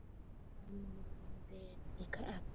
Þar málum við líka egg.